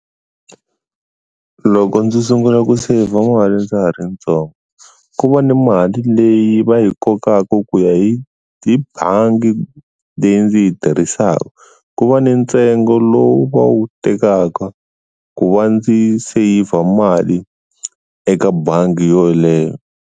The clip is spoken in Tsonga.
Loko ndzi sungula ku saver mali ndza ha ri ntsongo ku va ni mali leyi va yi kokaka ku ya hi tibangi leyi ndzi yi tirhisaka ku va ni ntsengo lowu va wu tekaka ku va ndzi saver mali eka bangi yoleyo.